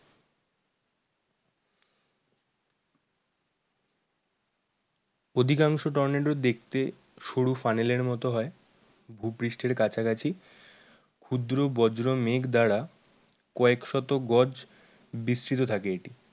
অধিকাংশ টর্নেডো দেখতে সরু ফানেলের মতো হয়। ভুপৃষ্ঠের কাছাকাছি ক্ষুদ্র বজ্র মেঘ দ্বারা কয়েক শত গজ বিসৃত থাকে এটি।